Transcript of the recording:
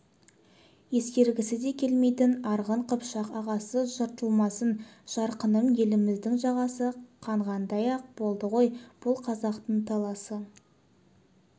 ескергісі де келмейтін арғын қыпшақ ағасы жыртылмасын жарқыным еліміздің жағасы қанғандай-ақ болды ғой бұл қазақтың таласы